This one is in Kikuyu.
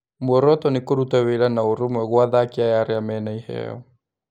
"Muoroto nĩ kũrũta wĩra na ũrũmwe gwa athaki aya arĩa mena iheo.